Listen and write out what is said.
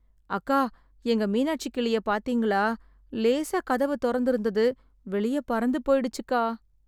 அக்கா, எங்க மீனாட்சி கிளிய பாத்தீங்களா? லேசா கதவு தொறந்து இருந்தது, வெளியே பறந்து போய்டுச்சுக்கா.